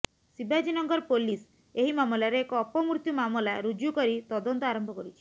Shivajinagar police ଏହି ମାମଲାରେ ଏକ ଅପମୃତ୍ୟୁ ମାମଲା ରୁଜୁ କରି ତଦନ୍ତ ଆରମ୍ଭ କରିଛି